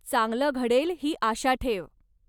चांगलं घडेल ही आशा ठेव.